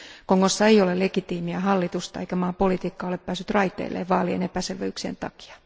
Kongossa ei ole legitiimiä hallitusta eikä maan politiikka ole päässyt raiteilleen vaalien epäselvyyksien takia.